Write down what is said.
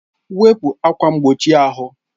Wepu ákwà mgbochi ahụ